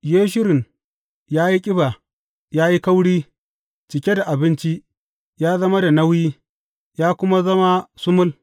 Yeshurun ya yi ƙiba, ya yi kauri; cike da abinci, ya zama da nauyi, ya kuma zama sumul.